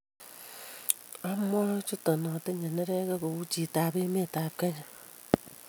awae kuchutok atinye neregek kou chitoab emet ab kenya